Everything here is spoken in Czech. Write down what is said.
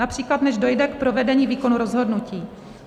Například než dojde k provedení výkonu rozhodnutí.